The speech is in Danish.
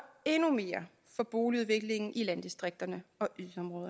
endnu mere for boligudviklingen i landdistrikterne